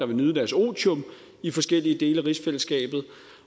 vil nyde deres otium i forskellige dele af rigsfællesskabet